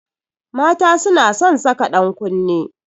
Mata suna son saka dankunne